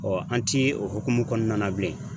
an ti o hokumu kɔnɔna na bilen.